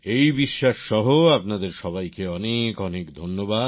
এই বিশ্বাস সহ আপনাদের সবাইকে অনেক অনেক ধন্যবাদ